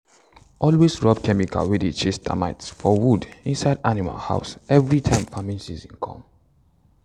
always rub chemical wey dey chase termite for wood inside animal house every time farming season come.